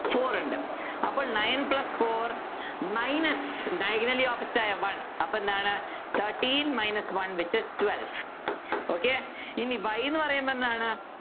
Four ഉണ്ട് അപ്പൊ Nine plus four minus diagonally opposite ആയ one അപ്പൊ എന്താണ് Thirteen minus one which is twelve okay ഇനി Y ന്നു പറയുമ്പോ എന്താണ്